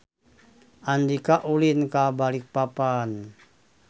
Andika ulin ka Balikpapan